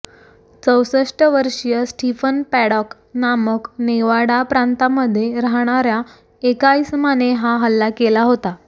चौसष्ट वर्षीय Stephen Paddock नामक नेवाडा प्रांतामध्ये राहणाऱ्या एका इसमाने हा हल्ला केला होता